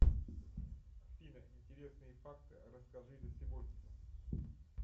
афина интересные факты расскажи за сегодня